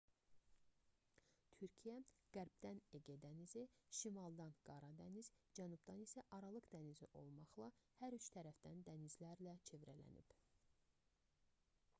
türkiyə qərbdən ege dənizi şimaldan qara dəniz cənubdan isə aralıq dənizi olmaqla hər üç tərəfdən dənizlərlə çevrələnib